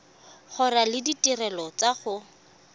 gola le ditirelo tsa go